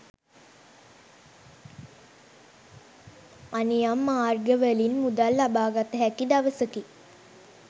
අනියම් මාර්ගවලින් මුදල් ලබාගත හැකි දවසකි.